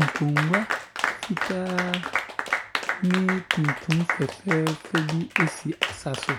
Nkongua fitaa ne tuntum fɛfɛɛfɛ bi si asa so,